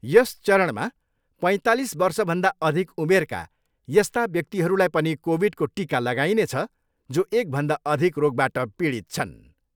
यस चरणमा पैँतालिस वर्षभन्दा अधिक उमेरका यस्ता व्यक्तिहरूलाई पनि कोभिडको टिका लागाइनेछ जो एकभन्दा अधिक रोगबाट पीडित छन्।